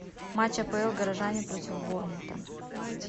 матч апл горожане против борнмута